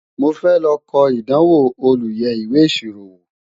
mọ fẹ ló kò ìdánwò olú yé ìwé ìṣirò wò